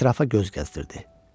Ətrafa göz gəzdirirdi.